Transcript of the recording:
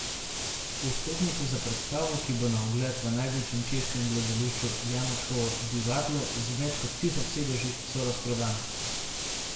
Vstopnice za predstavo, ki bo na ogled v največjem češkem gledališču Janačkovo divadlo z več kot tisoč sedeži, so razprodane.